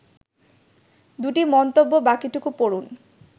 ২টি মন্তব্য বাকিটুকু পড়ুন